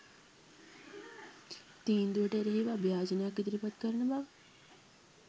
තීන්දුවට එරෙහිව අභියාචනයක් ඉදිරිපත් කරන බව